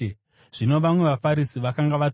Zvino vamwe vaFarisi vakanga vatumwa